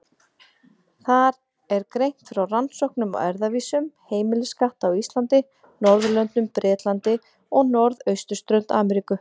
Þar er greint frá rannsóknum á erfðavísum heimiliskatta á Íslandi, Norðurlöndum, Bretlandi og norðausturströnd Ameríku.